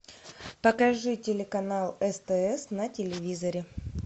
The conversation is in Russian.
покажи телеканал стс на телевизоре